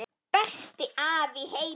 Besti afi í heimi.